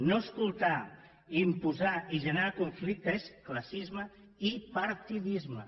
no escoltar imposar i generar conflicte és classisme i partidisme